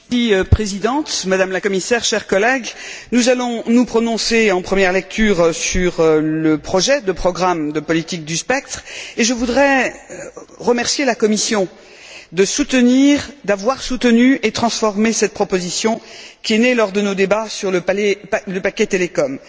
Madame la Présidente, Madame la Commissaire, chers collègues, nous allons nous prononcer en première lecture sur le projet de programme de politique du spectre et je voudrais remercier la Commission de soutenir, d'avoir soutenu et transformé cette proposition, qui est née lors de nos débats sur le paquet Télécom.